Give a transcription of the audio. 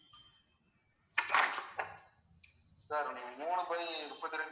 sir நீங்க மூணு by முப்பத்திரெண்டு